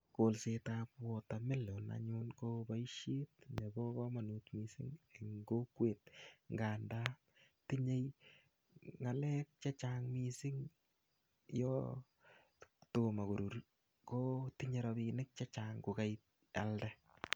Kolset ab watermelon anyun koboisiet nebo kamanut mising eng kokwet nganda tinyei ngalek che chang mising yo tomo kurur kotonyei rapinik chechang ko kaialde.